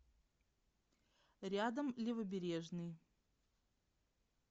рядом левобережный